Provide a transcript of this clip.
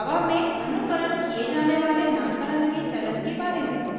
java में अनुकरण किए java वाले नामकरण के चलन के बारे में